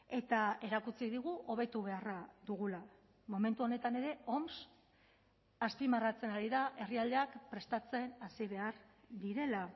eta erakutsi digu hobetu beharra dugula momentu honetan ere oms azpimarratzen ari da herrialdeak prestatzen hasi behar direla